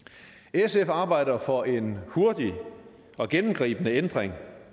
sf arbejder for en hurtig og gennemgribende ændring